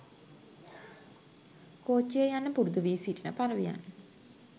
කෝච්චියේ යන්න පුරුදු වී සිටින පරවියන්.